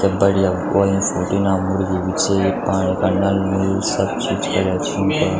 क्या बढ़िया वो अयीं फोटो इना मुर्गी भी छीं पाणी पड़ना --